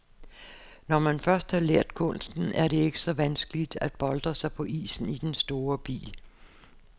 Når man først har lært kunsten, er det ikke så vanskeligt at boltre sig på isen i den store bil.